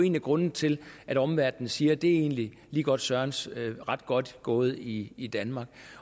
en af grundene til at omverdenen siger det er egentlig ligegodt sørens ret godt gået i i danmark